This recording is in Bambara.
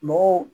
Mɔgɔw